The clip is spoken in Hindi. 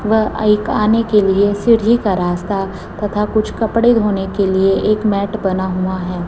व आइक आने के लिए सीढ़ी का रास्ता तथा कुछ कपड़े धोने के लिए एक मैट बना हुआ है।